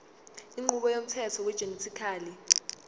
inqubo yomthetho wegenetically